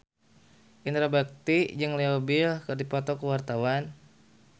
Indra Bekti jeung Leo Bill keur dipoto ku wartawan